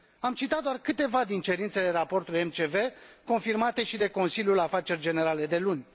Am citat doar câteva din cerințele raportului MCV, confirmate și de Consiliul Afaceri Generale de luni.